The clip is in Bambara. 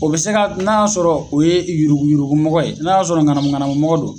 O bi se ka n'a y'a sɔrɔ o ye yurugu yurugumɔgɔ ye, n'a y'a sɔrɔ ŋanamu ŋanamumɔgɔ don